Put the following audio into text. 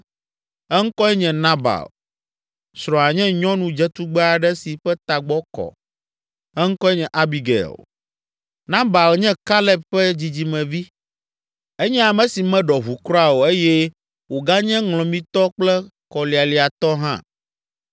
Eŋkɔe nye Nabal. Srɔ̃a nye nyɔnu dzetugbe aɖe si ƒe tagbɔ kɔ; eŋkɔe nye Abigail. Nabal nye Kaleb ƒe dzidzimevi, enye ame si meɖɔ ʋu kura o eye wòganye ŋlɔmitɔ kple kɔlialiatɔ hã.